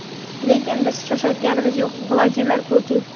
lekin biz shoshayotganimiz yo‘q – Vladimir Putin.